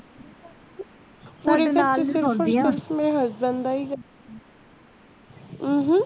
husband uh um